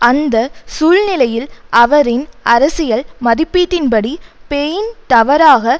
அந்த சூழ்நிலையில் அவரின் அரசியல் மதிப்பீட்டின்படி பெயின் தவறாக